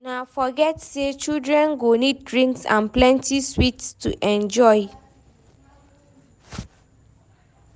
No forget say children go need drinks and plenty sweets to enjoy.